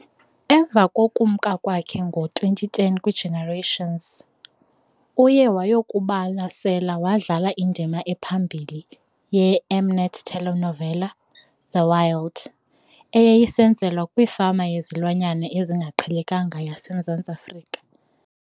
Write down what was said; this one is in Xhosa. Emva kokumka kwakhe ngo-2010 "kwiGenerations", uye wayokubalasela wadlala indima ephambili ye -M-Net telenovela "The Wild ," eyayisenzelwa kwifama yezilwanyana ezingaqhelekanga yaseMzantsi Afrika.